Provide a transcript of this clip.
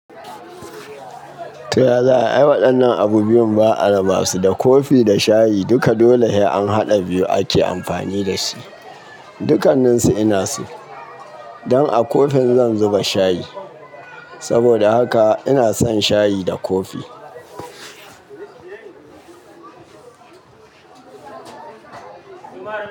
Toya za ayi ai waɗannan abu biyun ba, a ra basu da kofi da shayi duka dole sai an haɗa biyu ake amfani dasu. Dukanninsu ina su? Don a kofin zan zuba shayi. Saboda haka ina son shayi da kofi.